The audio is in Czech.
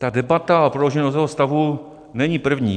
Ta debata o prodloužení nouzového stavu není první.